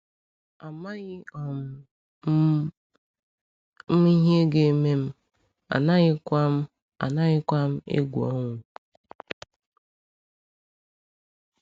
“Amaghị um m ihe ga-eme m, anaghịkwa m anaghịkwa m egwu ọnwụ.”